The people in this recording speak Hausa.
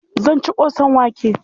Zan ci ƙosan wake.